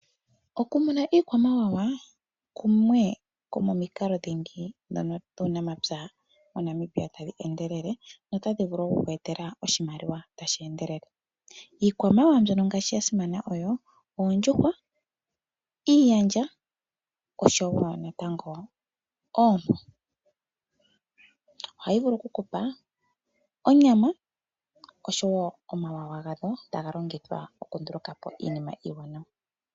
Okumuna iikwamawawa oko kumwe komomikalo dhingi dhomuunamapya dhono tadhi pangele, notadhi vulu oku ku etela oshimaliwa tashi endelele. Iikwamawawa mbyono ya simana oyo ngaashi oondjuhwa, iiyandja oshowo natango oompo. Ohayi vulu okukupa onyama oshowo omawawa gadho taga longithwa okundulukapo iinima iiwanawa.